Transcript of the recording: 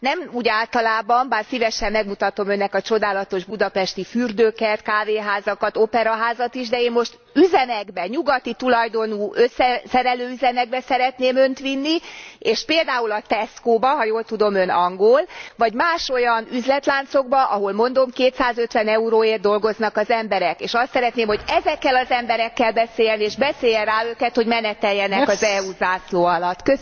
Nem úgy általában, bár szívesen megmutatom Önnek a csodálatos budapesti fürdőket, kávéházakat, Operaházat is, de én most üzemekbe, nyugati tulajdonú összeszerelő üzemekbe szeretném Önt vinni, és például a Tescóba ha jól tudom Ön angol vagy más olyan üzletláncokba, ahol mondom 250 euróért dolgoznak az emberek, és azt szeretném, hogy ezekkel az emberekkel beszéljen, és beszélje rá őket, hogy meneteljenek az EU zászló alatt!